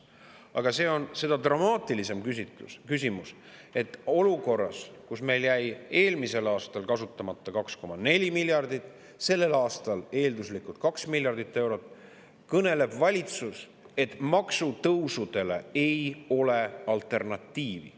Aga seda dramaatilisem on küsimus, et olukorras, kus meil jäi eelmisel aastal kasutamata 2,4 miljardit eurot ja sellel aastal jääb eelduslikult kasutamata 2 miljardit eurot, kõneleb valitsus, et maksutõusudele ei ole alternatiivi.